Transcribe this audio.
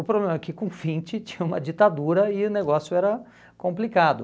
O problema é que com o vinte tinha uma ditadura e o negócio era complicado.